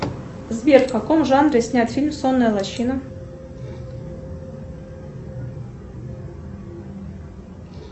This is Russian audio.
сбер в каком жанре снят фильм сонная лощина